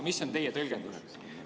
Mis on teie tõlgendus?